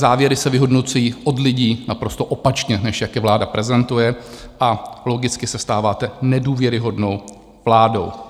Závěry se vyhodnocují od lidí naprosto opačně, než jak je vláda prezentuje, a logicky se stáváte nedůvěryhodnou vládou.